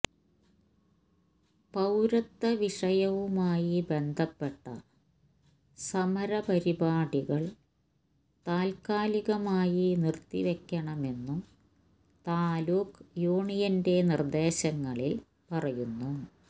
പൌരത്വവിഷയവുമായി ബന്ധപ്പെട്ട സമരപരിപാടികൾ താത്കാലികമായി നിർത്തിവെക്കണമെന്നും താലൂക്ക് യൂണിയന്റെ നിർദേശങ്ങളിൽ പറയുന്നു